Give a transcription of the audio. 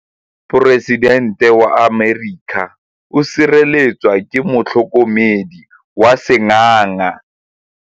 Poresitêntê wa Amerika o sireletswa ke motlhokomedi wa sengaga.